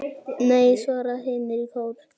Nei, svara hinar í kór.